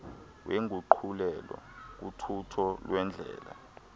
wenguqulelo kuthutho lwendlela